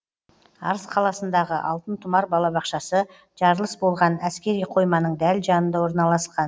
арыс қаласындағы алтын тұмар балабақшасы жарылыс болған әскери қойманың дәл жанында орналасқан